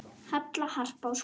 Halla, Harpa og Skúli.